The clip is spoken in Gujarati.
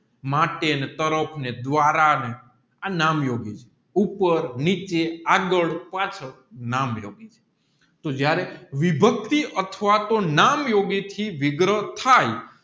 માટેની તારોપ ને દ્વારાને આ નામયોગી ઉપર નીચે આગળ પાછળ નામયોગી છે તોહ જયારે વિભક્તિ અથવા તોહ નામયોગી થી વિગ્રહ થાય